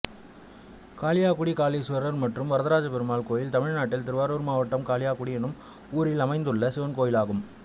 காளியாகுடி காளீஸ்வரர் மற்றும் வரதராஜபெருமாள் கோயில் தமிழ்நாட்டில் திருவாரூர் மாவட்டம் காளியாகுடி என்னும் ஊரில் அமைந்துள்ள சிவன் கோயிலாகும்